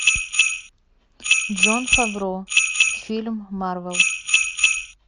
джон фавро фильм марвел